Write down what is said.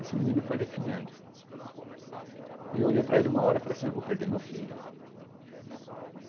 Esse menino foi definhando e eu olhei para ele uma hora e falei assim, eu vou perder meu filho.